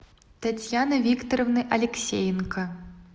татьяны викторовны алексеенко